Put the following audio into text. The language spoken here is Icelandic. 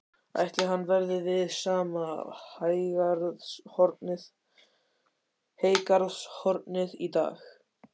Ætli hann verði við sama heygarðshornið í dag?